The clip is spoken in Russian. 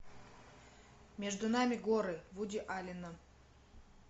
между нами горы вуди аллена